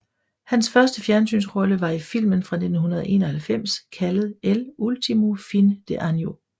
Hans første fjernsynsrolle var i filmen fra 1991 kaldet El Último Fin de Año